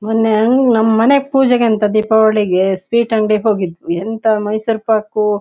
ಮೊನ್ನೆ ಅಂಗ ನಮ್ ಮನೆಗೆ ಪೂಜೆಗಂತ ದಿಪಾವಳಿಗೆ ಸ್ವೀಟ್ ಅಂಗ್ಡಿಗೆ ಹೋಗಿದ್ವಿ ಎಂತಾ ಮೈಸೂರ್ ಪಾಕು--